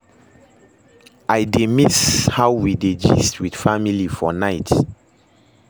I dey miss how we dey gist with family for night